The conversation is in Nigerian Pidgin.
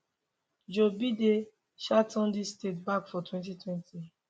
joe biden um turn dis states back for 2020